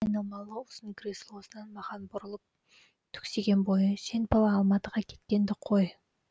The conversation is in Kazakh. айналмалы ұзын креслосынан маған бұрылып түксиген бойы сен бала алматыға кеткенді қой